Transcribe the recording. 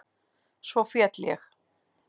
Svo féll ég.